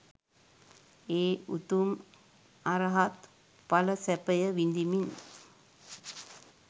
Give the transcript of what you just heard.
ඒ උතුම් අරහත් ඵල සැපය විඳිමින්